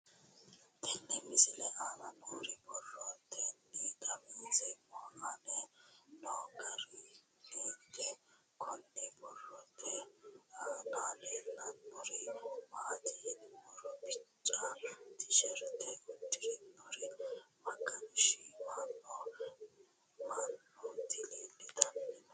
Tenne misile aana noore borroteni xawiseemohu aane noo gariniiti. Kunni borrote aana leelanori maati yiniro bicca tisherte udidhinorri magansiisanni noo manooti leelitanno.